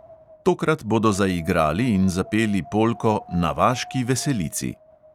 Tokrat bodo zaigrali in zapeli polko na vaški veselici.